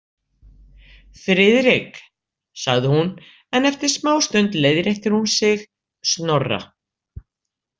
Friðrik, sagði hún en eftir smástund leiðréttir hún sig: Snorra.